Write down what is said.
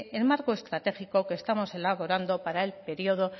el marco estratégico que estamos elaborando para el periodo